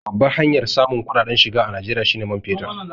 Babbar hanyar samun kuɗaɗen shiga a Najeriya shi ne man fetur.